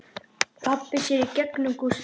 Pabbi sér í gegnum Gústa.